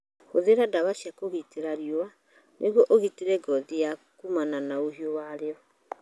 Hũthĩra ndawa cia kũgitĩra riũa nĩguo ũgitĩre ngothi yaku kumana na ũhiũ wa riũ .